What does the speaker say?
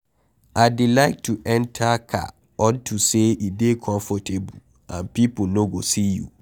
I dey like to enter car unto say e dey comfortable and people no go see you.